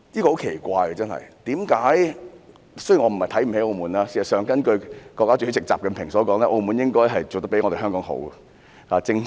我不是瞧不起澳門，事實上，根據國家主席習近平所說，澳門做得比香港好，正正......